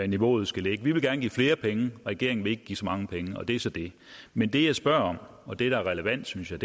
niveauet skal ligge vi vil gerne give flere penge og regeringen vil ikke give så mange penge og det er så det men det jeg spørger om og det der er relevant synes jeg